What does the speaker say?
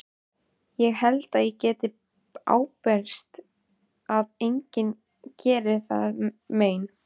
Ég held ég geti ábyrgst að enginn geri þér mein.